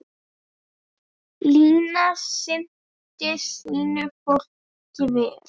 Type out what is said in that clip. Lína sinnti sínu fólki vel.